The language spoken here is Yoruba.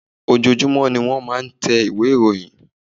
Ojoojumọ ní wọ́n máa ń tẹ ìwé ìròyìn.